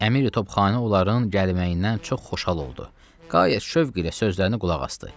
Əmiri-Topxanə onların gəlməyindən çox xoşhal oldu, qayət şövq ilə sözlərinə qulaq asdı.